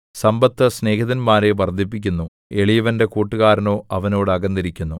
സമ്പത്ത് സ്നേഹിതന്മാരെ വർദ്ധിപ്പിക്കുന്നു എളിയവന്റെ കൂട്ടുകാരനോ അവനോട് അകന്നിരിക്കുന്നു